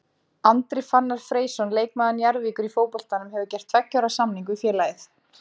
Andri Fannar Freysson leikmaður Njarðvíkur í fótboltanum hefur gert tveggja ára samning við félagið.